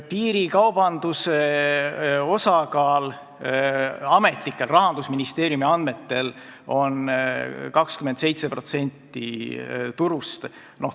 Piirikaubanduse osakaal Rahandusministeeriumi ametlikel andmetel on 27% turust.